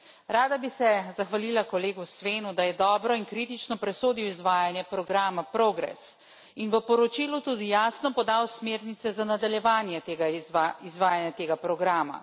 Rada bi se zahvalila kolegu Svenu, da je dobro in kritično presodil izvajanje programa PROGRESS in v poročilu tudi jasno podal smernice za nadaljevanje izvajanja tega programa.